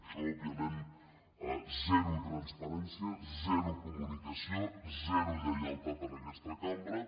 això òbviament zero transparència zero comunicació zero lleialtat a aquesta cambra